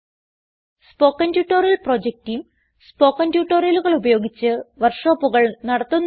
spoken tutorial project team spoken ട്യൂട്ടോറിയലുകൾ ഉപയോഗിച്ച് വർക്ക് ഷോപ്പുകൾ നടത്തുന്നു